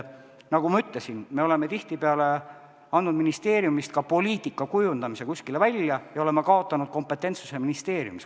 Nagu ma ütlesin, me oleme tihtipeale andnud ministeeriumist ka poliitika kujundamise kuskile välja ja oleme kaotanud kompetentsuse ministeeriumis.